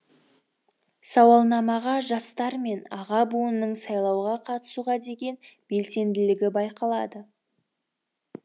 сауалнамаға жастар мен аға буынның сайлауға қатысуға деген белсенділігі байқалады